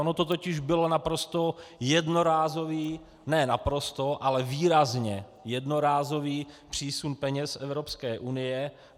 On to totiž byl naprosto jednorázový - ne naprosto, ale výrazně jednorázový přísun peněz z Evropské unie.